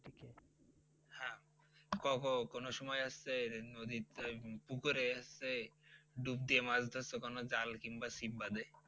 কও কও কোনো সময় আসছে নদীর পুকুরে হচ্ছে ডুব দিয়ে মাছ ধরছ কোনো জাল কিংবা ছিপ বাদে?